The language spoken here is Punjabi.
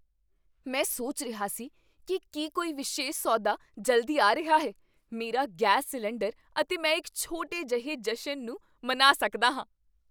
ਮੈਂ ਸੋਚ ਰਿਹਾ ਸੀ ਕੀ ਕੀ ਕੋਈ ਵਿਸ਼ੇਸ਼ ਸੌਦਾ ਜਲਦੀ ਆ ਰਿਹਾ ਹੈ। ਮੇਰਾ ਗੈਸ ਸਿਲੰਡਰ ਅਤੇ ਮੈਂ ਇੱਕ ਛੋਟੇ ਜਿਹੇ ਜਸ਼ਨ ਨੂੰ ਮਨਾ ਸਕਦਾ ਹਾਂ!